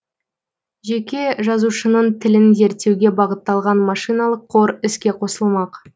жеке жазушының тілін зерттеуге бағытталған машиналық қор іске қосылмақ